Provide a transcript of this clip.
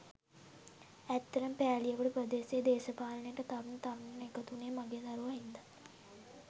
ඇත්තටම පෑලියගොඩ ප්‍රදේශයේ දේශපාලනයට තරුණ තරුණියන් එකතු වුණේ මගේ දරුවා හින්දා.